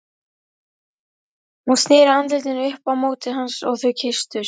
Hún sneri andlitinu upp á móti hans og þau kysstust.